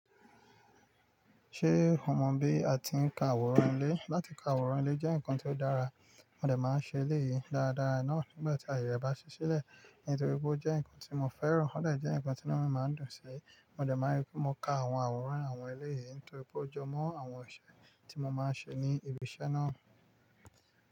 Ṣé o mọ̀ bí a ti ń ka àwòrán ilé? Láti ka àwòrán ilé jẹ́ nǹkan tó dára, mo dẹ̀ máa ń ṣe èlé yìí dáradára náà nígbà tí aye rẹ bá ṣí sílẹ̀, nítorí pé ó jẹ́ nǹkan tí mo fẹ́ràn, ó dẹ̀ jẹ́ nǹkan tí inu mi máa ń dùn sí, mo dẹ̀ máa rí pé mo ka àwọn àwòrán àwọn ilé yìí nítorí pé ó jọmọ́ àwọn ọṣẹ tí mo máa ń ṣe ní ibi iṣẹ́ náà.